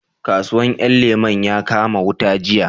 Kasuwan 'yan lemo ya kama wuta jiya